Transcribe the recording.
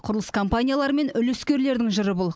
құрылыс компаниялары мен үлескерлердің жыры бұл